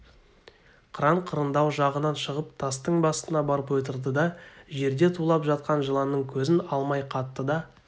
қыран қырындау жағынан шығып тастың басына барып отырды да жерде тулап жатқан жыланнан көзін алмай қатты да